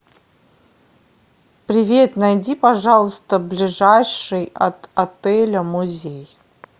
привет найди пожалуйста ближайший от отеля музей